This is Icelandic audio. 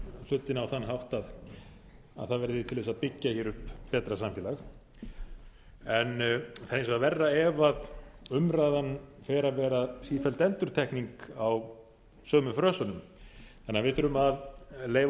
hlutina á þann hátt að það verði til þess að byggja hér upp betra samfélag það er hins vegar verra ef umræðan fer að verða sífelld endurtekning á sömu frösunum við þurfum því að leyfa